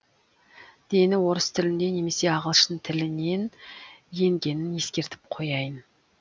дені орыс тілінде немесе ағылшын тілінен енгенін ескертіп қояйын